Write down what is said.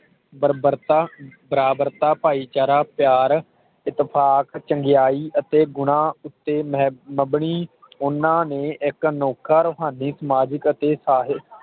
ਬਰਬਰਤਾ ਬਰਾਬਰਤਾ ਭਾਈਚਾਰਾ ਪਿਆਰ ਇਤਫ਼ਾਤ ਚੰਗਿਆਈ ਅਤੇ ਗੁਣਾਂ ਉਤੇ ਮਹੇਤ ਬਬਨੀ ਓਹਨਾ ਨੇ ਇਕ ਅਨੋਖਰ ਮਾਧੀ ਸਮਾਜਿਕ ਅਤੇ ਸਾਹਿਤ